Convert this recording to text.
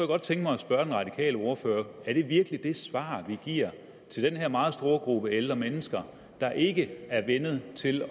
godt tænke mig at spørge den radikale ordfører er det virkelig det svar vi giver den her meget store gruppe ældre mennesker der ikke er vænnet til at